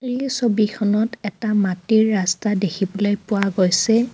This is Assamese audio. এই ছবিখনত এটা মাটিৰ ৰাস্তা দেখিবলৈ পোৱা গৈছে.